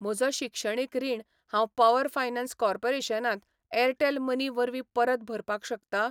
म्हजो शिक्षणीक रीण हांव पॉवर फायनान्स कॉर्पोरेशन त एअरटेल मनी वरवीं परत भरपाक शकता?